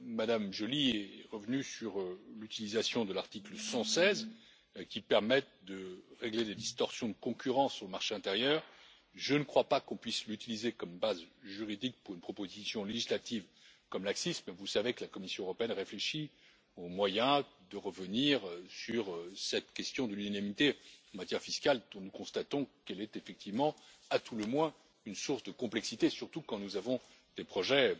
Mme Joly est revenue sur l'utilisation de l'article 116 qui permet de régler les distorsions de concurrence sur le marché intérieur. Je ne crois pas qu'on puisse l'utiliser comme base juridique pour une proposition législative comme l'ACCIS mais vous savez que la Commission européenne réfléchit au moyen de revenir sur cette question de l'unanimité en matière fiscale dont nous constatons qu'elle est effectivement à tout le moins une source de complexité, surtout quand nous avons des projets